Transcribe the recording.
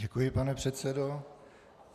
Děkuji, pane předsedo.